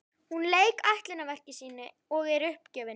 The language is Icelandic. Hún lauk ætlunarverki sínu og er uppgefin.